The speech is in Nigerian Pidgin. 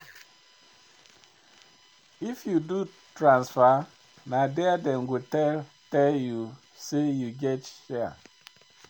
If you do transfer, na there dem go tell tell you say dem get share.